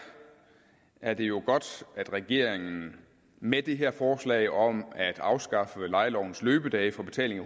er det jo godt at regeringen med det her forslag om at afskaffe lejelovens løbedage for betaling af